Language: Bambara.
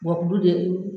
Wa kulu de ye